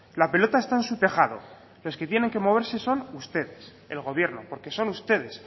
la pelota está en su tejado los que tienen que moverse son ustedes el gobierno porque son ustedes